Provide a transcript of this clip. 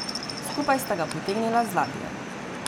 Skupaj sta ga potegnila z ladje.